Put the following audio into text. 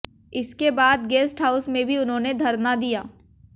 इसके बाद guest house में भी उन्होंने धरना दिया